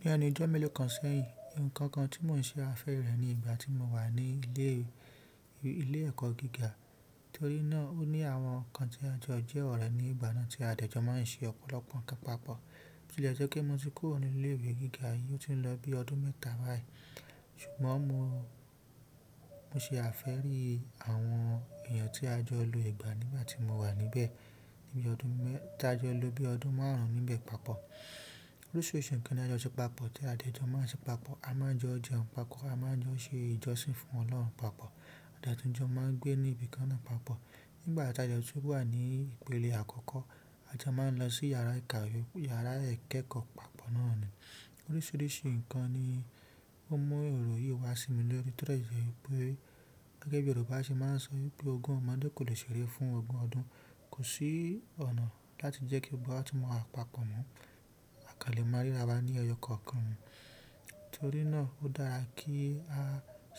Ní ẹnu ijọ́ méẹ̀ló ún sẹ́yìn, ǹkan kan tí mò ń ṣe afẹ́ rẹ̀ ní ìgbà tí mo wà ní ilé ìwé gíga torí náà ó ní àwọn ǹkan tí ajọ díẹ̀ wà rẹ̀ ní ìbà náà tí àjọ máa ń ṣe ọ̀pọ̀lọpọ̀ pápọ̀ tí ilẹ̀ jẹ́ kí mo ti kúrò ní ilé ìwé gíga yìí ó ti ń lọ bí ọdún mẹ́ta báyìí. Ṣùgbọ́n mo ṣe àfẹ́ rí àwọn èèyàn tí a jọ lo ìgbà nígbà tí mo wà níbẹ̀ tí a jọ lo bí ọdún márùn ún níbẹ̀ papọ̀. Oríṣiríṣi ǹkan ni a jọ se papọ̀ ti a dẹ̀ jọ máa se papọ̀, a mo jọ jẹun papọ̀, a máa jọ ṣe ìjọsìn fún ọlọ́run papọ̀, a dẹ̀ tún jọ máa gbé ní ibì kaná papọ̀. Nígbà ta jọ ti wà ní ìpele àkọ́kọ́, a jọ máa ń lọ sí yàrá ìkàwé, yàrá ìkẹ́kọ̀ọ́ papọ̀ náà ni. Oríṣiríṣi ǹkan ni ó mú èrò yìí wá sí mi lórí torí ìjọba pé gẹ́gẹ́ bí Yorùbá ṣe máa ń sọ pé "ogun ọmọdé kò lè ṣeré fún ogun ọdún", kò sí ọ̀nà láti jẹ́ kí gbogbo wa tún móra papọ̀ mọ́. Àkàlẹ̀ máa ríra bá a ní ọjọ́ kọ̀ọ̀kan. Torí náà ó dára kí a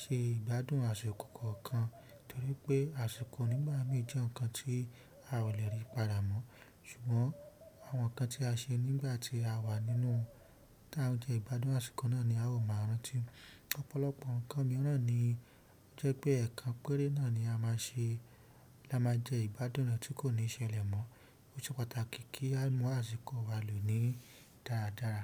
ṣe ìgbádùn àsìkò kọ̀ọ̀kan torí pé àsìkò nígbà mí jẹ́ ǹkan tí a ò lè rí padà mọ́. Ṣùgbọ́n àwọn ǹkan tí a ṣe nígbà tí a wà nínú tá ń jẹ ìgbádùn àsìkò náà ni a ó máa rántí. Ọ̀pọ̀lọpọ̀ ǹkan mìíràn ni ó jẹ́ pé ẹ̀kan péré náà ni a máa ṣe, la máa jẹ ìbádùn rẹ̀ tí kò ní ṣẹlẹ̀ mọ́. Ó ṣe pàtàkì kí á mú àsìkò wa lò ní dáradára.